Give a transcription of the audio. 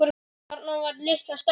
Þarna var litla stelpan mín.